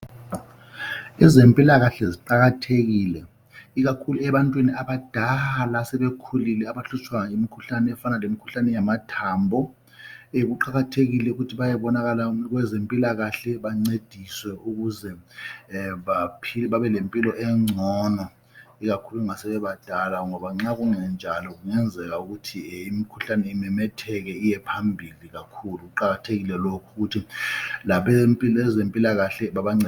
Ezempilakahle ziqakathekile ikakhulu ebantwini abadala asebekhulile abahlutshwa yimikhuhlane efana lemikhuhlane yamathambo. Kuqakathekile ukuthi bayebonana labezempilakahle ukuthi bancediswe ukuze babelempilo engcono ikakhulu ma bebebadala ngoba nxa kungenjalo kungenzeka imikhuhlane imemetheke iyephambili kakhulu. Kuqakathekile ukuthi abezempilakahle babancedise.